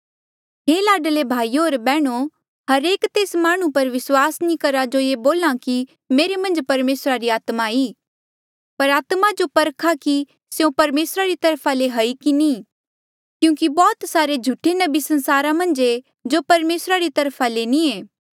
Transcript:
हे लाडले भाईयो होर बैहणो हरेक तेस माह्णुं पर विस्वास नी करहा जो ये बोल्हा की मेरे मन्झ परमेसरा री आत्मा ई पर आत्मा जो परखा कि स्यों परमेसरा री तरफा ले ई कि नी ई क्यूंकि बौह्त सारे झूठे नबी संसारा मन्झ ऐें जो परमेसरा री तरफा ले नी ऐें